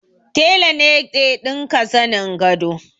Tela ne ke ɗinka zanin gado